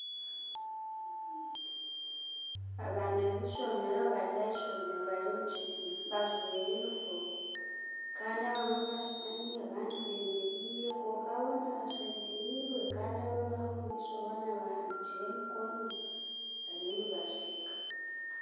Abaana b'ishomeera bari ah'ishomeero bari omu kibiina bajwaire yunifoomu kandi abamwe bashutami abandi bemereire kwonka boona bashemerirwe kandi abaho omumaisho boona bahaniikire emikono bariyo nibasheeka.